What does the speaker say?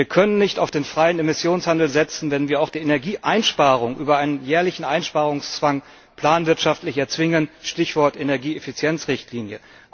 Wir können nicht auf den freien Emissionshandel setzen, wenn wir auch die Energieeinsparung über einen jährlichen Einsparungszwang planwirtschaftlich erzwingen Stichwort Energieeffizienz Richtlinie.